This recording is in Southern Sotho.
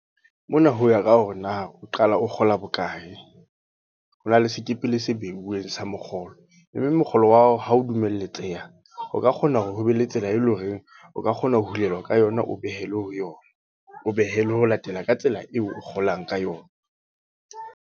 Hona ho ya ka hore na, o qala o kgola bokae. Ho na le sekepele se beuweng sa mokgolo. Mme mokgolo wa hao ha o dumeletseha. O ka kgona hore ho be le tsela e leng horeng, o ka kgona ho hulelwa ka yona o behelwe ho yona. O behelwe ho latela ka tsela eo o kgolang ka yona.